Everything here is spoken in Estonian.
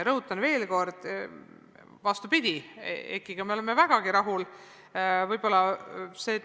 Rõhutan veel kord, vastupidi, EKI-ga me oleme vägagi rahul.